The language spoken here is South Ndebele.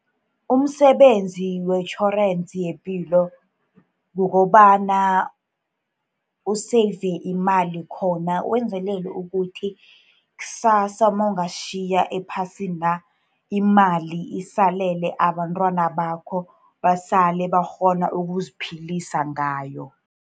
Umsebenzi wetjhorensi yepilo kukobana u-save imali khona, wenzelele ukuthi ksasa nawingasitjhiya ephasina, imali isalele abantwana bakho, basale bakghona ukuziphilisa ngayo.